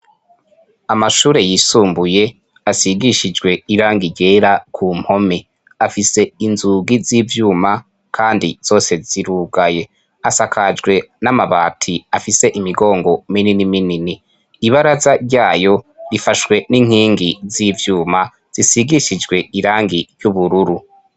Amashure yisumbuye asigishijwe irangi ryera kumpome, afise inzugi z'ivyuma kandi zose zirugaye, asakajwe n'amabati afise imigongo minini minini, ibaraza ryayo rifashwe n'inkingi z'ivyuma zisigishijwe irangi ry'ubururu.